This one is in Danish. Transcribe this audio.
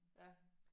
Ja